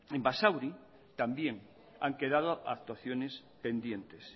en basauri también han quedado actuaciones pendientes